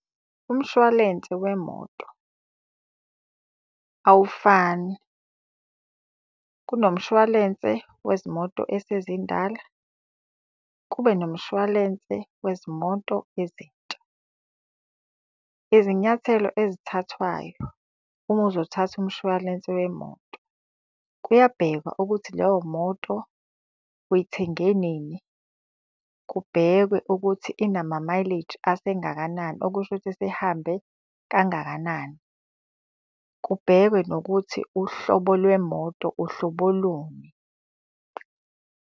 Umshwalense wemoto awufani. Kunomshwalense wezimoto esezindala, kube nomshwalense wezimoto ezintsha. Izinyathelo ezithathwayo uma uzothatha umshwalense wemoto, kuyabhekwa ukuthi leyo moto uyithenge nini. Kubhekwe ukuthi inamamayileji asengakanani okusho ukuthi isihambe kangakanani. Kubhekwe nokuthi uhlobo lwemoto uhlobo luni.